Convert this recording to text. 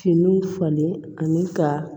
Finiw falen ani ka